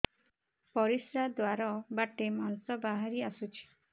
ପରିଶ୍ରା ଦ୍ୱାର ବାଟେ ମାଂସ ବାହାରି ଆସୁଛି